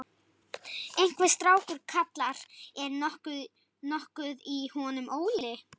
Einhver strákur kallar: Er nokkuð í honum, Óli?